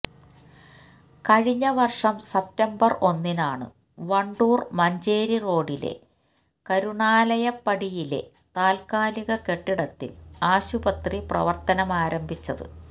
കഴിഞ്ഞ വര്ഷം സപ്തംബര് ഒന്നിനാണ് വണ്ടൂര് മഞ്ചേരി റോഡിലെ കരുണാലയപ്പടിയിലെ താത്കാലിക കെട്ടിടത്തില് ആശുപത്രി പ്രവര്ത്തനമാരംഭിച്ചത്